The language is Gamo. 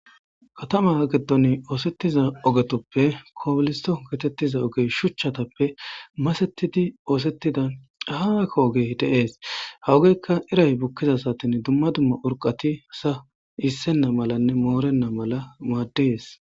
katama geddon oosettiza ogetoppe koboliso getettiza ogey shuchchatappe masettidi oosettida ahaaka ogey deees hawugeykka iray bukkiza satin dumma dumma urqati sa issenna malanne moorenna mala maaddees